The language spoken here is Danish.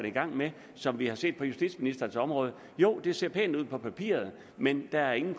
i gang med som vi har set på justitsministerens område jo det ser pænt ud på papiret men der er ingen